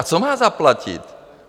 A co má zaplatit?